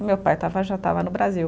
E meu pai estava, já estava no Brasil.